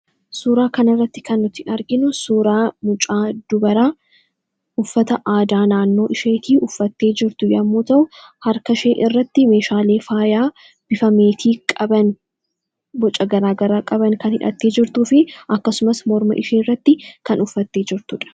Suuraa kana irratti kan nuti arginu suuraa mucaa dubaraa uffata aadaa naannoo isheetii uffattee jirtu yommuu ta'u harka ishee irratti meeshaalee faayaa bifa meetii qaban, boca garaagaraa qaban kan hidhattee jirtuu fi akkasumas morma ishee irratti kan uffatte jirtuudha.